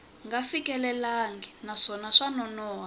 nga fikelelangi naswona swa nonoha